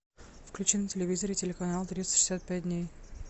включи на телевизоре телеканал триста шестьдесят пять дней